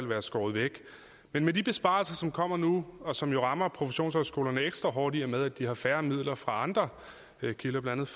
være skåret væk men med de besparelser som kommer nu og som jo rammer professionshøjskolerne ekstra hårdt i og med at de har færre midler fra andre kilder blandt